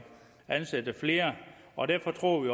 ansætte flere og derfor tror vi